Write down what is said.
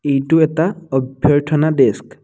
এইটো এটা অভ্যথনাৰ ডেস্ক ।